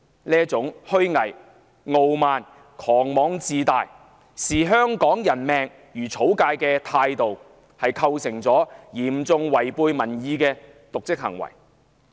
這種虛偽、傲慢、狂妄自大、視香港人命如草芥的態度構成嚴重違背民意的瀆職行為。